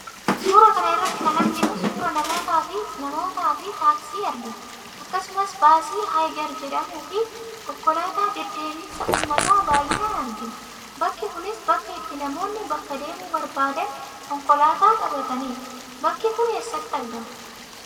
Suuraa kana irratti kan arginu suuraa namootaa fi taaksii argina. Akkasumas baasii 'Higer' jedhamuu fi konkolaataa deddeebisa uummataa baay'inaan argina. Bakki kunis bakka itti namoonni bakka deemuu barbaadan konkolaataa qabatanidha. Bakki kun eessatti argama?